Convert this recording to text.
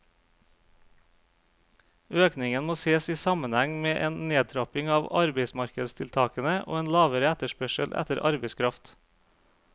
Økningen må ses i sammenheng med en nedtrapping av arbeidsmarkedstiltakene og en lavere etterspørsel etter arbeidskraft.